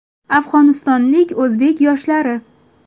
Afg‘onistonlik o‘zbek yoshlari.